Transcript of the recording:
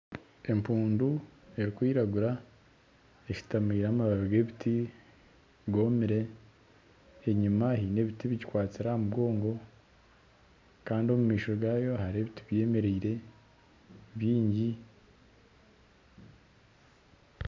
Empuundu erikwiragura eshutameire amababi g'ebiti gomire enyima eyine ebiti ebigikwasire amugongo kandi omu maisho gaayo harimu ebiti byemereire byingi.